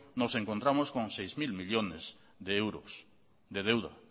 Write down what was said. nos encontramos con seis mil millónes de euros de deuda